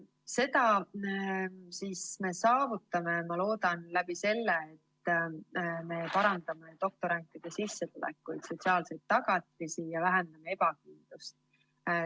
Seda me saavutame, ma loodan, sellega, et me parandame doktorantide sissetulekuid ja sotsiaalseid tagatisi ning vähendame ebakindlust.